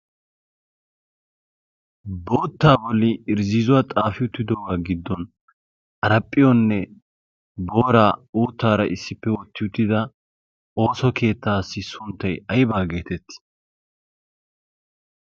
boottaa boli irzziizuwaa xaafi uttido'uwaa giddon araaphphiyoonne booraa uuttaara issippe ootti uttida ooso keettaassi sunttay aybaa geetett